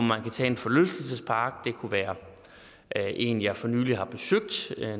man tager en forlystelsespark det kunne være en jeg for nylig har besøgt